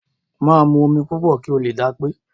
Máa mu omi púpọ̀ kí o lè dápé.